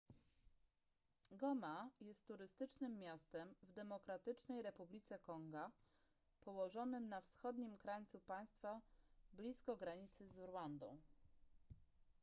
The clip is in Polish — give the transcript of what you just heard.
goma jest turystycznym miastem w demokratycznej republice konga położonym na wschodnim krańcu państwa blisko granicy z rwandą